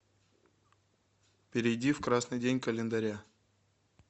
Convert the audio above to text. перейди в красный день календаря